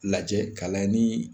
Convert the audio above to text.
Lajɛ k'a layɛ nin